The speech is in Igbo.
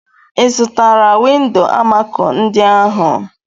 Ị zụtara windo amako ndị ahụ?